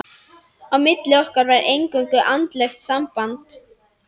Á milli okkar var eingöngu andlegt samband.